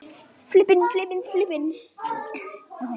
Ég get það ekki